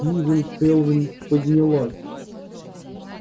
сьюзен кэлвин поднялась